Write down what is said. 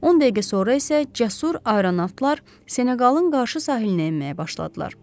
10 dəqiqə sonra isə cəsur aeronautlar Senoqalın qarşı sahilinə enməyə başladılar.